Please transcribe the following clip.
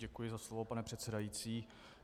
Děkuji za slovo, pane předsedající.